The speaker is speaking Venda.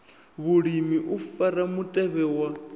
vhulimi u fara mutevhe wa